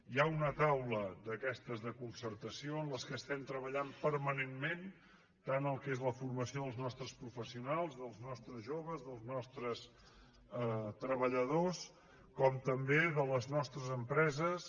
hi ha una taula d’aquestes de concertació amb què treballem permanentment tant el que és la formació dels nostres professionals dels nostres joves dels nostres treballadors com també de les nostres empreses